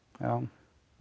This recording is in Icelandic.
að